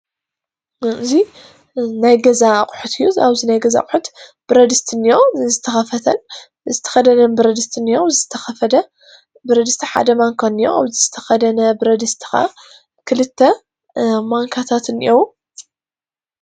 እዚ ናይ ገዛ ኣቑሑት እዩ። ኣብዚ ናይ ገዛ አቑሑት ብረድስቲ እኒኦ ዝተከፈተ ዝተከደነን ብረድስቲ እኒኦ ዝተከፈተ ብረትድስቲ ፣ ሓደ ማንካ እኒኦ ዝተከደነ ብርድስቲ እኒኦ ክልተ ማነካታት እንአዉ።